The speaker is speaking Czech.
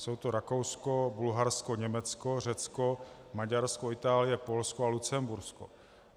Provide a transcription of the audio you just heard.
Jsou to Rakousko, Bulharsko, Německo, Řecko, Maďarsko, Itálie, Polsko a Lucembursko.